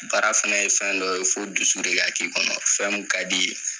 Baara fɛnɛ ye fɛn dɔ ye fo dusu de ka k'i kɔnɔ fɛn mun kad'i ye